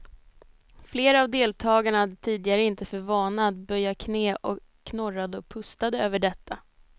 Flera av deltagarna hade tidigare inte för vana att böja knä och knorrade och pustade över detta.